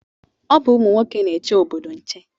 Ọ bụ ụmụ nwoke na-eche obodo nche